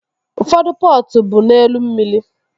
Ụfọdụ pọtụ bụ n'elu mmiri